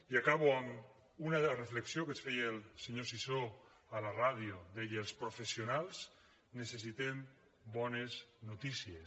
i acabo amb una de les reflexions que es feia el senyor sisó a la ràdio deia els professionals necessitem bones notícies